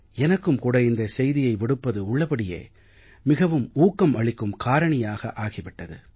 எனக்கும் கூட இந்த செய்தியை விடுப்பது உள்ளபடியே மிகவும் ஊக்கம் அளிக்கும் காரணியாக ஆகி விட்டது